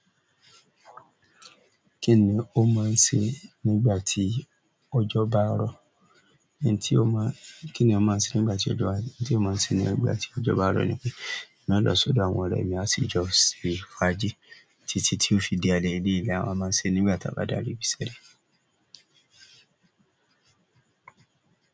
Kíni o máa ṣe nígbà tí ọjọ́ bá ń rọ̀. Kíni ó máa ń ṣe nígbà tí ọjọ́ bá, kíni ó máa ń ṣe nígbà tí ọjọ́ bá rọ́ ni pé, máa lọ sódò àwọn ọ̀rẹ́ mi, a sì jọ ṣe fàájì. Títí tí ó fi di alẹ́, eléyìí ni awa máa ń ṣe nígbà tí a bá daẹ́ẹ̀ ibiṣẹ́.